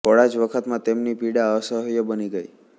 થોડા જ વખતમાં તેમની પીડા અસહ્ય બની ગઇ